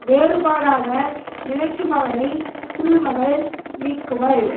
வேறுபாடாக நினைக்குமவனை திருமகள் நீங்குவள்